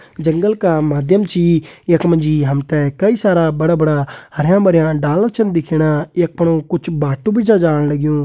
जंगल का माध्यम छी यख मजी हमते कई सारा बड़ा बड़ा हरयां भरयां डाला छन दिखेणा। यक फणू कुछ भाट्टु बि छ जाण लग्यूं।